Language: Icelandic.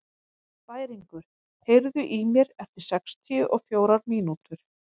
Bæringur, heyrðu í mér eftir sextíu og fjórar mínútur.